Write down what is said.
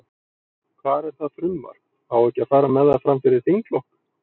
Hvar er það frumvarp, á ekki að fara með það, fram fyrir þinglok?